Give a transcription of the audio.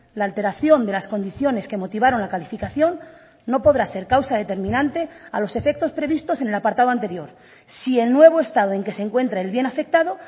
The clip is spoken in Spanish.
la alteración de las condiciones que motivaron la calificación no podrá ser causa determinante a los efectos previstos en el apartado anterior si el nuevo estado en que se encuentra el bien afectado